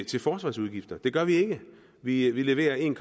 til forsvarsudgifter det gør vi ikke vi leverer en